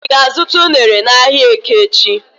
I ga-azuta unere n'ahia eke echi?